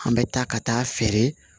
An bɛ taa ka taa feere